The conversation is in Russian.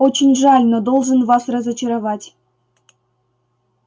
очень жаль но должен вас разочаровать